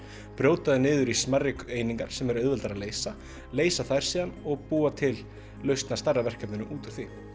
brjóta þau niður í smærri einingar sem er auðveldara að leysa leysa þær síðan og búa til lausn á stærra verkefni út frá því